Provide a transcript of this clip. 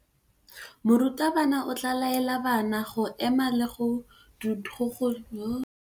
Morutabana o tla laela bana go ema le go go dumedisa.